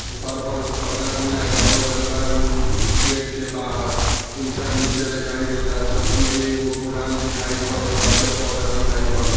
घर पर पर्दा भी लगावल गैल बा। रूम गेट के बाहर ईंटा नीचे दिखाई देता चौकी भी एगो पुरान दिखाई पड़त बा। पौधा दिखाई परत --